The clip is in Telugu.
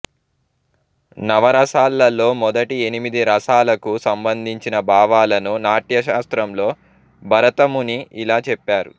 నవరసాలలో మొదటి ఎనిమిది రసాలకూ సంబంధించిన భావాలను నాట్యశాస్త్రంలో భరతముని ఇలా చెప్పారు